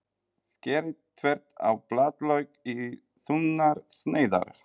Skerið þvert á blaðlauk í þunnar sneiðar.